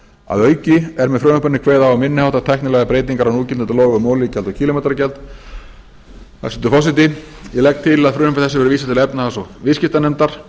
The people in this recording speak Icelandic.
að auki er með frumvarpinu kveðið á um minni háttar tæknilegar breytingar á núgildandi lögum um olíugjald og kílómetragjald hæstvirtur forseti ég legg til að frumvarpi þessu verði vísað til háttvirtrar efnahags og viðskiptanefndar